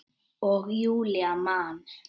Og Júlía man.